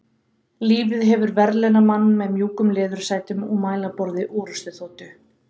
Lífið hefur verðlaunað mann með mjúkum leðursætum og mælaborði orrustuþotu.